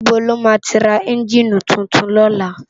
Nibó làmá ti rá ènjini túntún lòlá?